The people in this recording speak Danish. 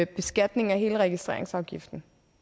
beskatningen af hele registreringsafgiften